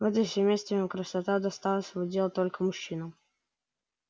в этом семействе красота досталась в удел только мужчинам